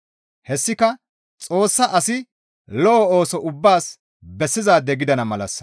Hessika Xoossa asi lo7o ooso ubbaas bessizaade gidana malassa.